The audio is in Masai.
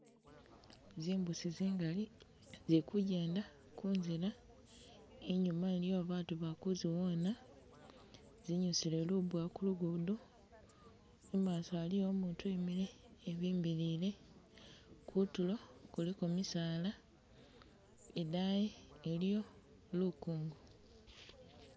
Zimbusi zingali zili kujjenda kunzila, inyuma iliwo batu balikuziwona zinyusile lubuwa kulugudo, mumaso aliyo umutu uwimile ebimbilile, kutulo kuliko misaala, idayi iliyo lukongo